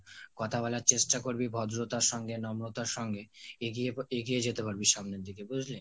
কথা বলার চেষ্টা করবি ভদ্রতার সঙ্গে নম্রতার সঙ্গে, এগিয়ে এগিয়ে যেতে পারবি সামনের দিকে বুজলি